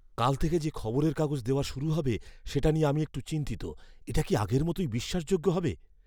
কাল থেকে যে খবরের কাগজ দেওয়া শুরু হবে সেটা নিয়ে আমি একটু চিন্তিত। এটা কি আগের মতোই বিশ্বাসযোগ্য হবে?